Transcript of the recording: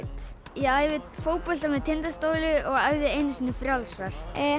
ég æfi fótbolta með Tindastóli og æfði einu sinni frjálsar